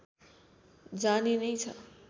जाने नै छ